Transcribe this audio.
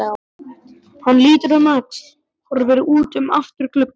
Hann lítur um öxl, horfir út um afturgluggann.